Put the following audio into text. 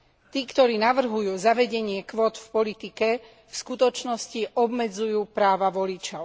Tí, ktorí navrhujú zavedenie kvót v politike, v skutočnosti obmedzujú práva voličov.